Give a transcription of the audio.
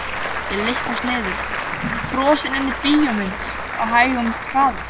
Ég lyppast niður, frosin inni í bíómynd á hægum hraða.